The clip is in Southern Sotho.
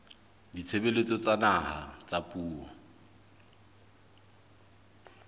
ditshebeletso tsa naha tsa puo